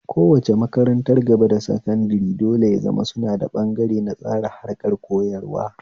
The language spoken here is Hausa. Kowace makarantar gaba da sankadare dole ya zama suna da ɓangare na tsara harkar koyarwa